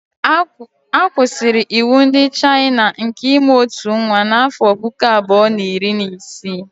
A kwụsịrị iwu ndị Chayịna nke ịmụ ọtụ nwa n'afọ puku abụọ na iri na isii